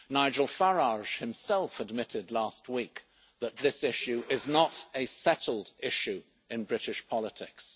Nigel Farage himself admitted last week that this issue is not a settled issue in British politics.